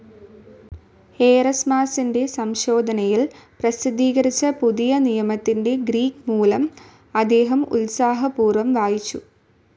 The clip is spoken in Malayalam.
ഏറസ്മാസിൻ്റെ സംശോധനയിൽ പ്രസിദ്ധീകരിച്ച പുതിയനിയമത്തിൻ്റെ ഗ്രീക്ക് മൂലം അദ്ദേഹം ഉത്സാഹപൂർവ്വം വായിച്ചു.